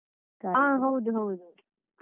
ಹ ಹೌದು ಹೌದು.